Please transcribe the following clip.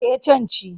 Eh can ci.